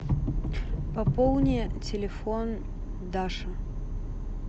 пополни телефон даши